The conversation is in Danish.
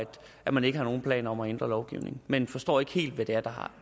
at man ikke har nogen planer om at ændre lovgivningen men vi forstår ikke helt hvad det er der